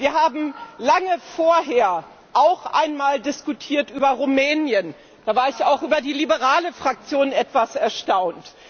Wir haben lange vorher auch einmal über Rumänien diskutiert, da war ich auch über die liberale Fraktion etwas erstaunt.